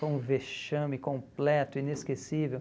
Foi um vexame completo, inesquecível.